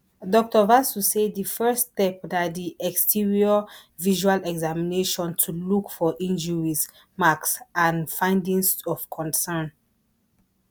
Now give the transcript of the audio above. dr vasu say di first step na di exterior visual examination to look for injuries marks and findings of concern